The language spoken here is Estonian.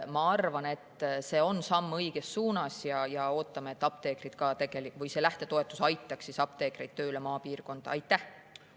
Ma arvan, et see on samm õiges suunas, ja me ootame, et see lähtetoetus aitab apteekreid maapiirkonda.